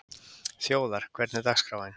Þjóðar, hvernig er dagskráin?